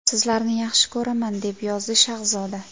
Sizlarni yaxshi ko‘raman!” deb yozdi Shahzoda.